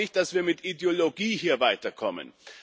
Ich glaube nicht, dass wir hier mit Ideologie weiterkommen.